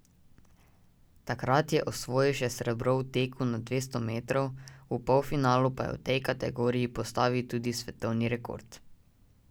Takrat je osvojil še srebro v teku na dvesto metrov, v polfinalu pa je v tej kategoriji postavil tudi svetovni rekord.